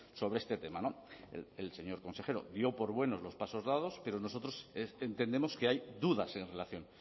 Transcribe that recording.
sobre este tema el señor consejero dio por buenos los pasos dados pero nosotros entendemos que hay dudas en relación